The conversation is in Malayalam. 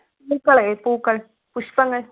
പൂക്കളെ പൂക്കൾ പുഷ്പങ്ങൾ